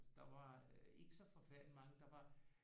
Altså der var ikke så forfærdelig mange der var